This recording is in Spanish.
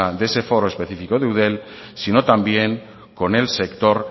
de ese foro específico de eudel sino también con el sector